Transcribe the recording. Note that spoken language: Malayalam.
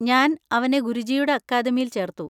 ഞാൻ അവനെ ഗുരുജിയുടെ അക്കാഡമിയിൽ ചേർത്തു.